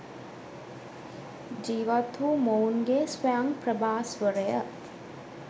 ජීවත් වූ මොවුන්ගේ ස්වයං ප්‍රභාස්වරය